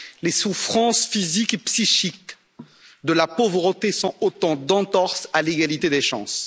Les souffrances physiques et psychiques de la pauvreté sont autant d'entorses à l'égalité des chances.